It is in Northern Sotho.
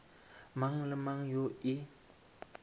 mang le mang yo e